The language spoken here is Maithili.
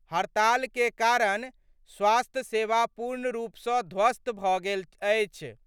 हड़ताल के कारण स्वास्थ्य सेवा पूर्ण रूप सं ध्वस्त भ' गेल अछि।